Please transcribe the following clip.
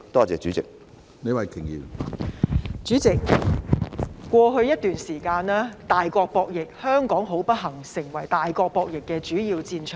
主席，過去一段時間，大國博弈，香港不幸成為大國博弈的主要戰場。